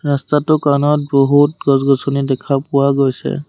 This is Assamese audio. ৰাস্তাটো কাণত বহুত গছ-গছনি দেখা পোৱা গৈছে।